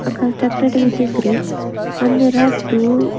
Ah constructed with a grills and there are two --